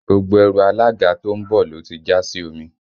Gbogbo ẹrù alága tó ń bọ̀ ló ti jà sí omi